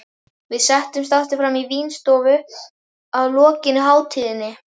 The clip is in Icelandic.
Við settumst aftur frammi í vínstofu að lokinni máltíðinni.